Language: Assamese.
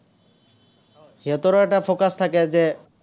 সিহঁতৰো এটা focus থাকে যে